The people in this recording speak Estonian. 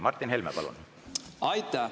Martin Helme, palun!